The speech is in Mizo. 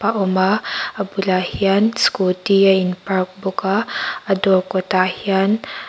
khawma a bulah hian scooty a in park bawka a dawr kawtah hian--